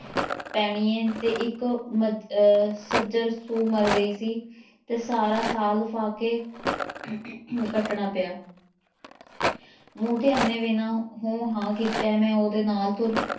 ਪੈਣੀ ਏ ਤੇ ਇੱਕ ਮ~ ਅਹ ਸੱਜਰ ਸੂ ਮਰ ਗਈ ਸੀ ਤੇ ਸਾਰਾ ਸਾਲ ਫਾਕੇ ਕੱਟਣਾ ਪਿਆ ਮੂੰਹ ਧਿਆਨੇ ਬਿਨਾਂ ਹੂੰ ਹਾਂ ਕੀਤਿਆਂ ਮੈਂ ਉਹਦੇ ਨਾਲ਼ ਤੁਰ